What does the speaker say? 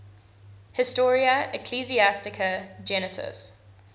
historia ecclesiastica gentis